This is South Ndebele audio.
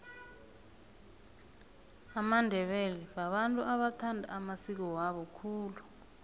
amandebele babantu abathanda amasiko wabo khulu